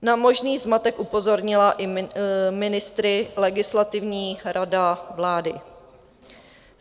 Na možný zmatek upozornila i ministry Legislativní rada vlády.